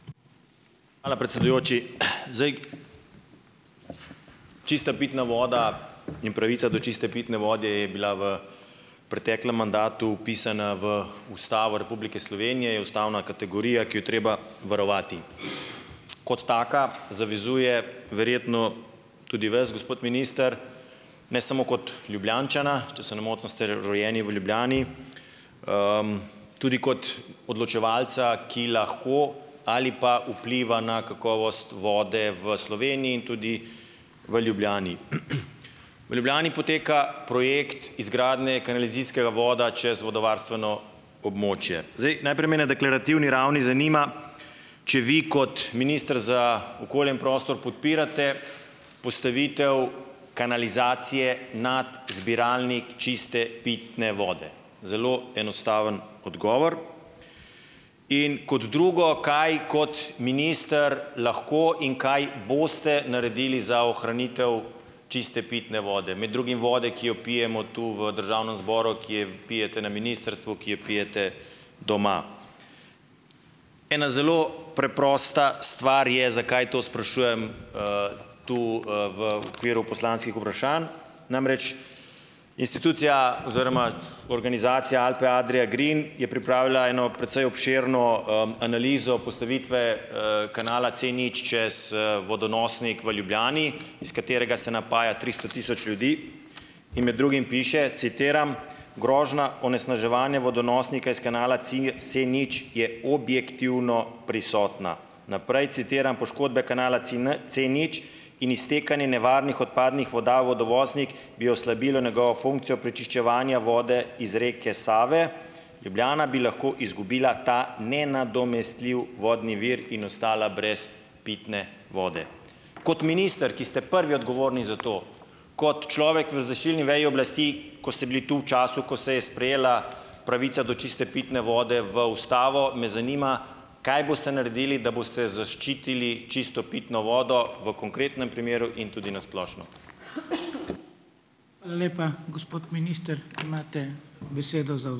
Hvala predsedujoči. Zdaj, čista pitna voda in pravica do čiste pitne vode je bila v preteklem mandatu vpisana v Ustavo Republike Slovenije, je ustavna kategorija, ki jo je treba varovati. Kot taka zavezuje verjetno tudi vas gospod minister, ne samo kot Ljubljančana, če se ne motim ste rojeni v Ljubljani, tudi kot odločevalca, ki lahko ali pa vpliva na kakovost vode v Sloveniji in tudi v Ljubljani. V Ljubljani poteka projekt izgradnje kanalizacijskega voda čez vodovarstveno območje. Zdaj, naprej me na deklarativni ravni zanima, če vi kot minister za okolje in prostor podpirate postavitev kanalizacije nad zbiralnik čiste pitne vode? Zelo enostaven odgovor. In kot drugo, kaj kot minister lahko in kaj boste naredili za ohranitev čiste pitne vode? Med drugim vode, ki jo pijemo tu v državnem zboru, ki jo pijete na ministrstvu, ki jo pijete doma. Ena zelo preprosta stvar je, zakaj to sprašujem, tu, v okviru poslanskih vprašanj, namreč institucija oziroma organizacija Alpe Adria Green je pripravila eno precej obširno, analizo postavitve, kanala Cnič čez, vodonosnik v Ljubljani, iz katerega se napaja tristo tisoč ljudi in med drugim piše, citiram: "Grožnja onesnaževanja vodonosnika iz kanala Cnič je objektivno prisotna." Naprej citiram: "Poškodbe kanala Cnič in iztekanje nevarnih odpadnih voda v vodonosnik bi oslabilo njegovo funkcijo prečiščevanja vode iz reke Save. Ljubljana bi lahko izgubila ta nenadomestljivi vodni vir in ostala brez pitne vode." Kot minister, ki ste prvi odgovorni za to, kot človek v izvršilni veji oblasti, ko ste bili tu v času, ko se je sprejela pravica do čiste pitne vode v ustavo, me zanima, kaj boste naredili, da boste zaščitili čisto pitno vodo, v konkretnem primeru in tudi na splošno?